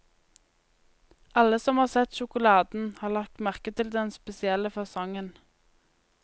Alle som har sett sjokoladen, har lagt merke til den spesielle fasongen.